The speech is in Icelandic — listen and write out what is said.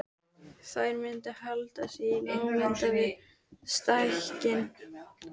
Þær mundu halda sig í námunda við stekkinn.